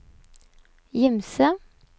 Gimse